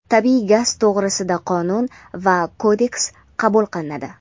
Tabiiy gaz to‘g‘risida qonun va kodeks qabul qilinadi.